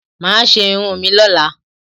Máa ṣe irun mi lọ́la.